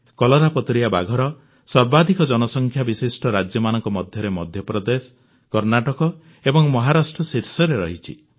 କଲରାପତରିଆ ବାଘର ସର୍ବାଧିକ ଜନସଂଖ୍ୟା ବିଶିଷ୍ଟ ରାଜ୍ୟମାନଙ୍କ ମଧ୍ୟରେ ମଧ୍ୟପ୍ରଦେଶ କର୍ଣ୍ଣାଟକ ଏବଂ ମହାରାଷ୍ଟ୍ର ଶୀର୍ଷରେ ଅଛନ୍ତି